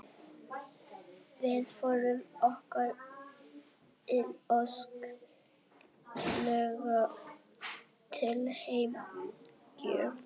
Vísindavefurinn óskar Unni Ósk innilega til hamingju.